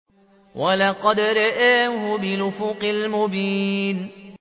وَلَقَدْ رَآهُ بِالْأُفُقِ الْمُبِينِ